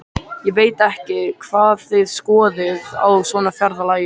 Ég veit ekki hvað þið skoðið á svona ferðalagi.